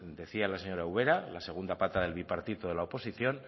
decía la señora ubera la segunda pata del bipartito de la oposición